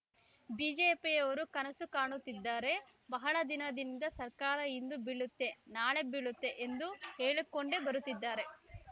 ಬಿಜೆಪಿಯವರು ಕನಸು ಕಾಣುತ್ತಿದ್ದಾರೆ ಬಹಳ ದಿನದಿಂದ ಸರ್ಕಾರ ಇಂದು ಬೀಳುತ್ತೆ ನಾಳೆ ಬೀಳುತ್ತೆ ಎಂದು ಹೇಳಿಕೊಂಡೇ ಬರುತ್ತಿದ್ದಾರೆ